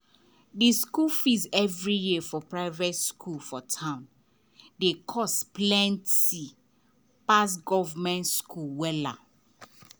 the school fees every year for private school for town dey cost plenty pass government school.